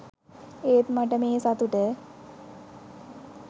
ඒත් මට මේ සතුට